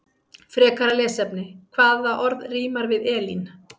Frekara lesefni: Hvaða orð rímar við Elín?